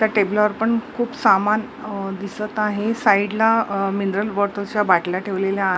त्या टेबलावर पण खूप अ सामान दिसत आहे साईडला मिनरल वॉटर च्या बाटल्या ठेवलेल्या आ --